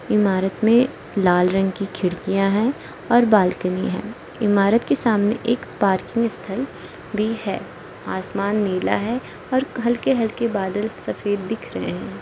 इमारत में लाल रंग की खिड़कियां है और बालकनी है इमारत के सामने एक पार्किंग स्थल भी है आसमान नीला है और हल्के हल्के बादल सफेद दिख रहे हैं।